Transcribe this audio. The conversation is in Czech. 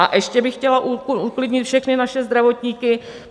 A ještě bych chtěla uklidnit všechny naše zdravotníky.